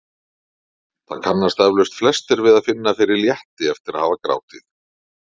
Það kannast eflaust flestir við að finna fyrir létti eftir að hafa grátið.